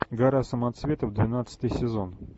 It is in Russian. гора самоцветов двенадцатый сезон